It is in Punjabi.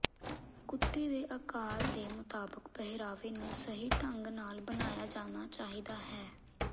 ਕੁੱਤੇ ਦੇ ਆਕਾਰ ਦੇ ਮੁਤਾਬਕ ਪਹਿਰਾਵੇ ਨੂੰ ਸਹੀ ਢੰਗ ਨਾਲ ਬਣਾਇਆ ਜਾਣਾ ਚਾਹੀਦਾ ਹੈ